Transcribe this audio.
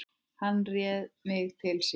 Hann réði mig til sín.